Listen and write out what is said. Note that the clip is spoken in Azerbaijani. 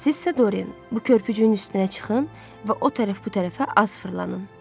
Sizsə Dorin, bu körpücüyün üstünə çıxın və o tərəf-bu tərəfə az fırlanın.